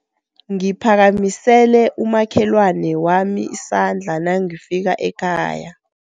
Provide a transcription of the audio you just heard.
Ngiphakamisele umakhelwani wami isandla nangifika ekhaya.